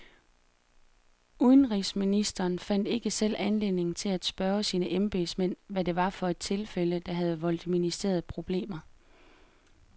Udenrigsministeren fandt ikke selv anledning til at spørge sine embedsmænd, hvad det var for et tilfælde, der havde voldt ministeriet problemer.